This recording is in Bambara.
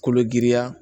Kolo giriya